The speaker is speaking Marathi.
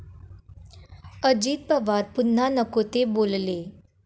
अजित पवार पुन्हा नको ते बोलले!